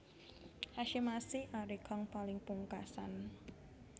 Hasyim Asy arie kang paling pungkasan